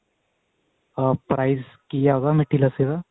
ਹਾਂ price ਕੀ ਹੈ ਉਹਦਾ ਮਿੱਠੀ ਲੱਸੀ ਦਾ